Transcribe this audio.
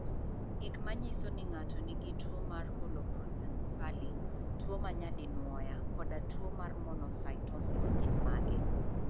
Gik manyiso ni ng'ato nigi tuwo mar Holoprosencephaly, tuwo ma nyadinwoya, koda tuwo mar monocytosis gin mage?